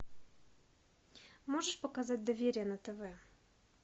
можешь показать доверие на тв